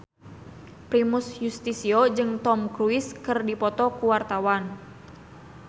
Primus Yustisio jeung Tom Cruise keur dipoto ku wartawan